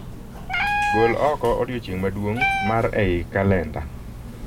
Gol oko odiechieng' maduong' mar ei kalenda